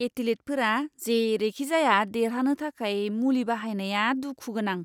एथलीटफोरा जेरैखिजाया देरहानो थाखाय मुलि बाहायनाया दुखु गोनां!